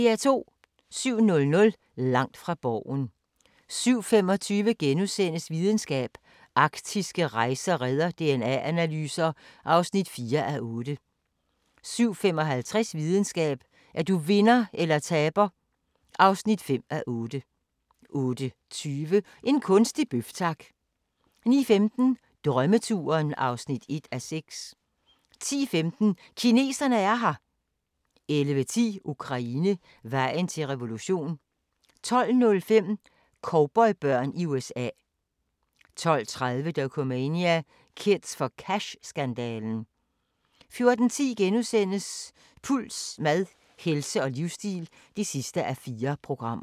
07:00: Langt fra Borgen 07:25: Videnskab: Arktiske rejer redder DNA-analyser (4:8)* 07:55: Videnskab: Er du vinder eller taber (5:8) 08:20: En kunstig bøf, tak! 09:15: Drømmeturen (1:6) 10:15: Kineserne er her! 11:10: Ukraine – vejen til revolution 12:05: Cowboybørn i USA 12:30: Dokumania: "Kids for Cash"-skandalen 14:10: Puls: Mad, helse og livsstil (4:4)*